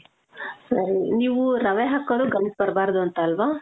ಸರೀ, ನೀವು ರವೆ ಹಾಕೋದು ಗಂಟ್ ಬರಬಾರ್ದು ಅಂತ ಅಲ್ವ?